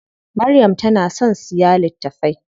Maryam tana son siya littafai.